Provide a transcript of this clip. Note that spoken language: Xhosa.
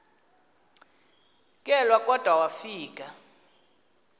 kelwa kodwa wafika